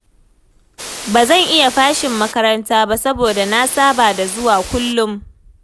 Ba zan iya fashin makaranta ba saboda na saba da zuwa kullum